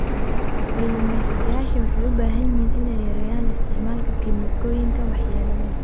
Kalumestayasha waxay u baahan yihiin inay yareeyaan isticmaalka kiimikooyinka waxyeelada leh.